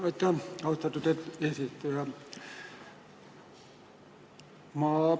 Aitäh!